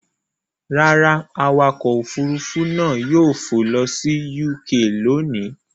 Rárá, awakọ̀ òfurufú náà yóò fò lọ sí UK lónìí.